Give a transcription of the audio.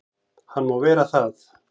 Hann má vera það.